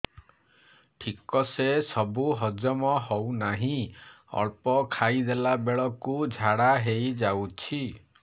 ଠିକସେ ସବୁ ହଜମ ହଉନାହିଁ ଅଳ୍ପ ଖାଇ ଦେଲା ବେଳ କୁ ଝାଡା ହେଇଯାଉଛି